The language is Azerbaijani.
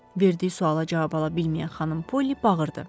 Verdiyi suala cavab ala bilməyən xanım Poli bağırdı.